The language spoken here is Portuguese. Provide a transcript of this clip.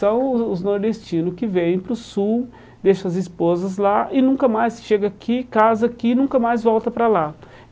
São os os nordestinos que vêm para o sul, deixam as esposas lá e nunca mais chegam aqui, casam aqui e nunca mais voltam para lá.